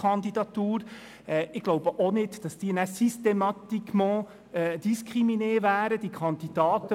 Bei Ihnen hatte ich schon fast das Gefühl, Sie dächten an die nächste eigene Kandidatur.